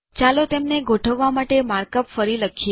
ચાલો તેમને ગોઠવવા માટે માર્કઅપ ફરી લખીએ